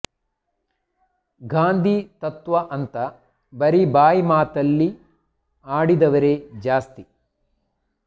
ಗಾಂಧಿ ತತ್ವ ಅಂತ ಬರೀ ಬಾಯಿ ಮಾತಲ್ಲಿ ಆಡಿದವರೆ ಜಾಸ್ತಿ